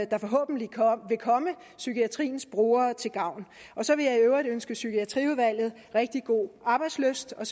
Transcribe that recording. da forhåbentlig vil komme psykiatriens brugere til gavn så vil jeg i øvrigt ønske psykiatriudvalget rigtig god arbejdslyst og